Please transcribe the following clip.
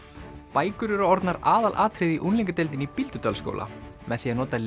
bækur eru orðnar aðalatriðið í unglingadeildinni í Bíldudalsskóla með því að nota